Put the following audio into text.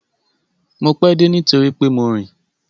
Mo pẹ́ dé nítorí pé mo rìn.